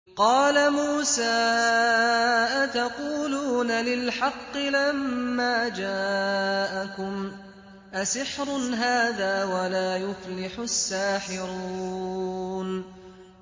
قَالَ مُوسَىٰ أَتَقُولُونَ لِلْحَقِّ لَمَّا جَاءَكُمْ ۖ أَسِحْرٌ هَٰذَا وَلَا يُفْلِحُ السَّاحِرُونَ